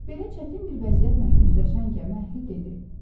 Belə çətin bir vəziyyətlə üzləşən gəmi əhli dedi: